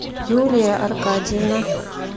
юлия аркадьевна